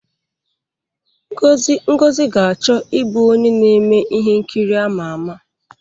Ngozi ga-achọ ịbụ onye na-eme ihe nkiri ama ama.